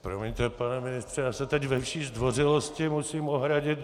Promiňte, pane ministře, já se teď ve vší zdvořilosti musím ohradit.